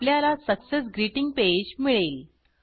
आपल्याला success greeting page मिळेल